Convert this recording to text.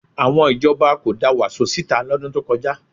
Àwọn ìjọba kò da Wàsó síta lọ́dún tó kọjá